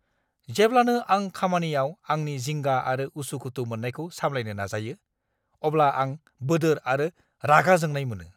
जेब्लानो आं खामानियाव आंनि जिंगा आरो उसु-खुथु मोन्नायखौ सामलायनो नाजायो, अब्ला आं बोदोर आरो रागा जोंनाय मोनो!